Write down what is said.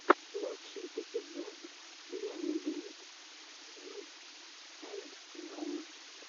лучший эпизод лены брит сью энд вэа